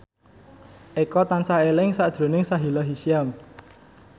Eko tansah eling sakjroning Sahila Hisyam